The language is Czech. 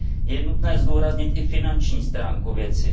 Je nutné zdůraznit i finanční stránku věci.